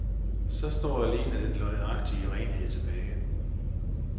Så står alene den løgnagtige renhed tilbage.